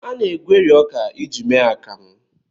A na-egweri ọka iji mee akamụ.